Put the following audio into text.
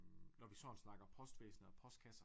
Når vi sådan snakker postvæsen og postkasser